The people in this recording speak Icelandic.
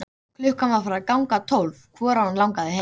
Sprettur á fætur og hleypur fram fyrir bílinn.